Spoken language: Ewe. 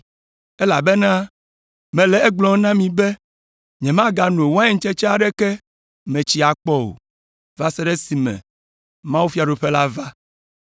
Elabena mele egblɔm na mi be nyemagano waintsetse aɖeke me tsi akpɔ o, va se ɖe esime mawufiaɖuƒe la va.”